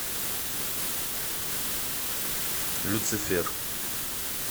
люцифер